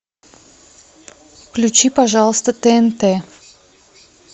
включи пожалуйста тнт